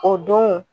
O don